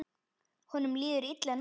Honum líður illa núna.